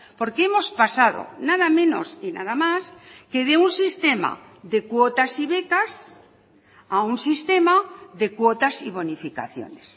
porque hemos pasado nada menos y nada más que de un sistema de cuotas y becas a un sistema de cuotas y bonificaciones